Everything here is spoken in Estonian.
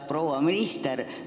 Proua minister!